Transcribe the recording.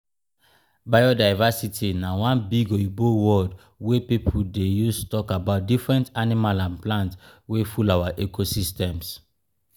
biodiversity na one big oyibo word wey pipo dey use talk about different animal and plant wey full our ecosystems.